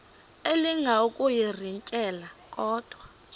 elinga ukuyirintyela kodwa